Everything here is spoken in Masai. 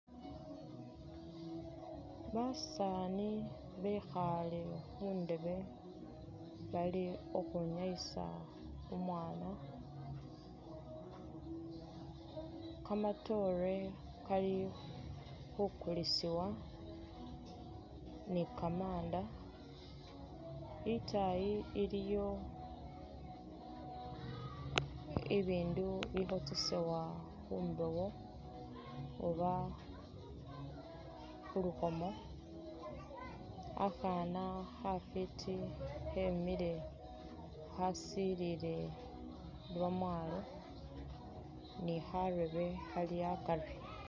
Basaani bekhaale khundeebe bali khukhwinyayisa umwaana, kamatoore Kali khukulisibwa ni kamanda , itaayi iliyo bibindu bikhosesewa khumbewo oba khulukhomo Khakhaana khafiti khemile khasilile lwamwaalo ni khareebe Khali akari